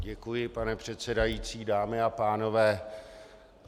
Děkuji, pane předsedající, dámy a pánové.